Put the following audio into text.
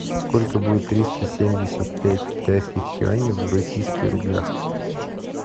сколько будет триста семьдесят пять китайских юаней в российских рублях